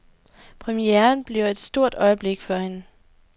Premieren bliver et stort øjeblik for hende.